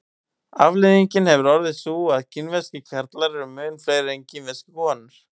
afleiðingin hefur orðið sú að kínverskir karlar eru mun fleiri en kínverskar konur